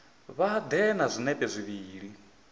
vha ḓe na zwinepe zwivhili